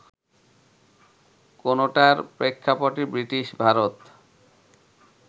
কোনোটার প্রেক্ষাপট ব্রিটিশ ভারত